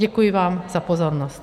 Děkuji vám za pozornost.